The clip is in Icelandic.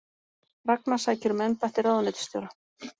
Ragna sækir um embætti ráðuneytisstjóra